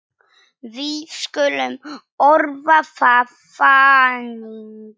Við skulum orða það þannig.